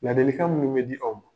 Ladilikan minnu be di aw ma